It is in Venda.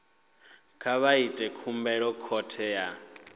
vha ite khumbelo khothe ya